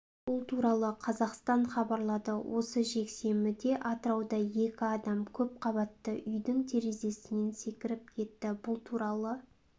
бұл туралы кз хабарлады осы жексенбіде атырауда екі адам көпқабатты үйдің терезесінен секіріп кетті бұл туралы